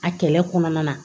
A kɛlɛ kɔnɔna na